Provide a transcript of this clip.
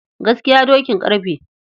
Gaskiya dokin ƙarfe.